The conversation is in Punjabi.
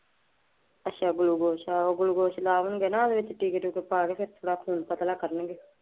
ਅੱਛਾ ਗਲੁਕੋਸ਼। ਆਹ ਗਲੁਕੋਸ਼ ਓਹਦੇ ਵਿੱਚ ਟੀਕੇ ਟੁਕੇ ਪਾ ਕੇ ਥੋੜਾ ਖੂਨ ਪਤਲਾ ਕਰਨਗੇ।